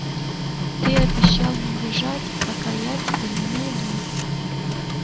ты обещал не бежать пока я тебя не найду